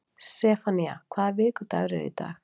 Sefanía, hvaða vikudagur er í dag?